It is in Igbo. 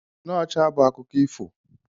Snow ọcha bụ akụkọ ifo.